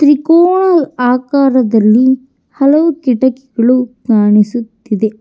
ತ್ರಿಕೋನ ಆಕಾರದಲ್ಲಿ ಹಲವು ಕಿಟಕಿಗಳು ಕಾಣಿಸುತ್ತಿದೆ.